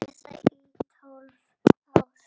Eða í tólf ár?